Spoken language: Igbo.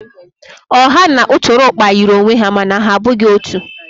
Ọha na ụtụrụkpa yiri onwe ha mana ha abụghị otu.